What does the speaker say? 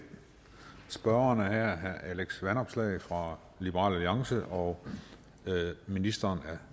spørgeren her er herre alex vanopslagh fra liberal alliance og ministeren